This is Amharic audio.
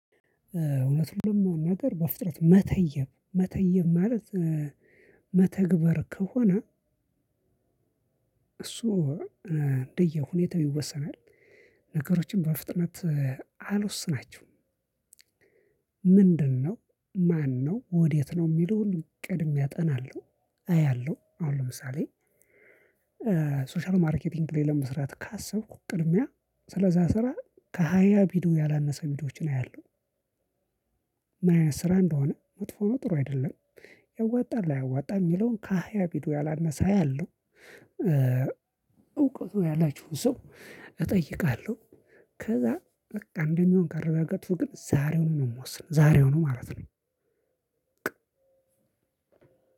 እዉነቱንም ነገር በፍጥነት መተየብ መተየብ ማለት መተግበር ከሆነ። እሱ እንደየሁኔታው ይወሰናል ነገሮችን በፍጥነት አልወስናቸውም። ምንድን ነው ማነው ወዴት ነው ሚለውን ቀድሜ አጠናለሁ። ሶሻል ማርኬቲንግ ላይ ለመስራት ካሰብኩ ቅድሚያ ስለዛ ስራ ከሃያ ቪዲዮ ያላነሰ ቪዲዮዎችን አያለሁ። ስራ እንደሆነ መጥፎ ነው ጥሩ አይደለም። ያዋጣል አያዋጣም የሚለውን ከሃያ ቪዲዮ ያላነሰ አያለው። እውቀቱ ያላቸውን ሰው እጠይቃለሁ። ከዛ በቃ እንደሚሆን ካረጋገጥኩ ግን ዛሬውን ነው የምወስነው ዛሬውኑ ማለት ነው።